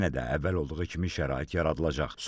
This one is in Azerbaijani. Yenə də əvvəl olduğu kimi şərait yaradılacaq.